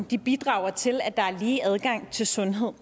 de bidrager til at der er lige adgang til sundhed